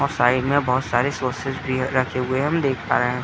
और साइड में बोहोत सारे सौसेस भी रखे हुए हैं हम देख पा रहे --